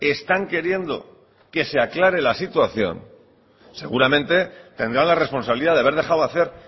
están queriendo que se aclare la situación seguramente tendrá la responsabilidad de haber dejado hacer